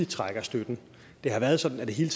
trækker stikket det har været sådan at det hele